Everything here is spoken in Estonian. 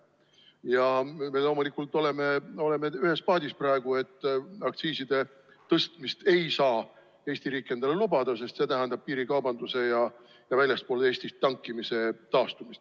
Ja me loomulikult oleme ühes paadis praegu: aktsiiside tõstmist ei saa Eesti riik endale lubada, sest see tähendab piirikaubanduse ja väljaspool Eestit tankimise taastumist.